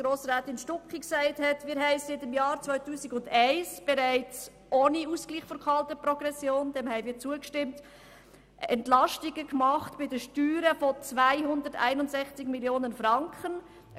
Wir haben seit dem Jahr 2001 bereits ohne Ausgleich der kalten Progression Entlastungen bei den Steuern von 261 Mio. Franken gemacht.